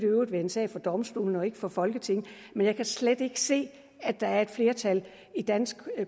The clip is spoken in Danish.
jo være en sag for domstolene og ikke for folketinget men jeg kan slet ikke se at der er et flertal i dansk